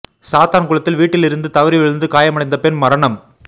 சாத்தான்குளத்தில் வீட்டில் இருந்து தவறி விழுந்து காயமடைந்த பெண் மரணம்